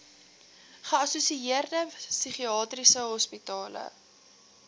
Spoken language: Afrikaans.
geassosieerde psigiatriese hospitale